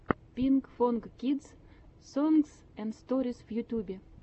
пинкфонг кидс сонгс энд сторис в ютубе